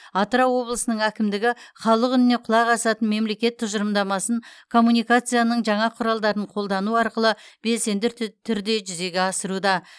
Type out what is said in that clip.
атырау облысының әкімдігі халық үніне құлақ асатын мемлекет тұжырымдамасын коммуникацияның жаңа құралдарын қолдану арқылы белсенді тү түрде жүзеге асыруда